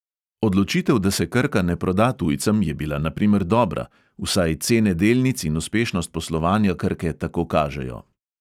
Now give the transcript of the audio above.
Odločitev, da se krka ne proda tujcem, je bila na primer dobra, vsaj cene delnic in uspešnost poslovanja krke tako kažejo.